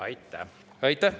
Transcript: Aitäh!